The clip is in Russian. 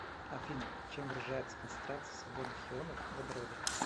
афина чем выражается концентрация свободных ионов водорода